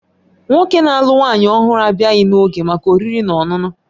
Nwoke na-alụ nwanyị ọhụrụ abịaghị n'oge maka oriri na ọṅụṅụ